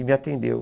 E me atendeu.